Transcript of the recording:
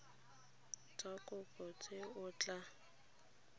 tsa kopo tse o tla